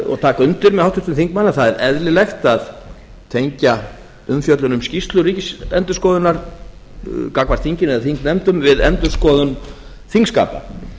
og taka undir með háttvirtum þingmanni að það er eðlilegt að tengja umfjöllun um skýrslu ríkisendurskoðunar gagnvart þinginu eða þingnefndum við endurskoðun þingskapa